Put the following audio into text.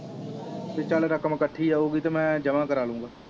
ਪੀ ਚਲ ਰਕਮ ਇਕਠੀ ਆਉਗੀ ਤੇ ਮੈ ਜਮਾ ਕਰਾਲੁਗਾ।